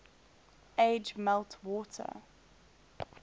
age melt water